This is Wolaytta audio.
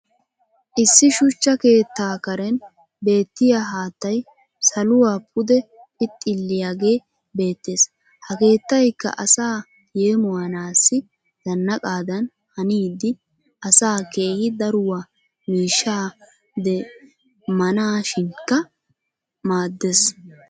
issi shuchcha keettaa karen beettiya haattay saluwaa pude phixxilliyaagee beetees. ha keettaykka asaa yeemmoyanaassi zanaqqadan hannidi asaa keehi daruwaa miishshaa demmanaassikka maadees.